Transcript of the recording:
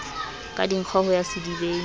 ka dinkgo ho ya sedibeng